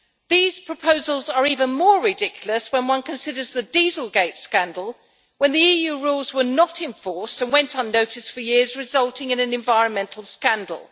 These proposals are even more ridiculous when one considers the Dieselgate scandal, when the EU rules were not enforced and went unnoticed for years, resulting in an environmental scandal.